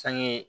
Sange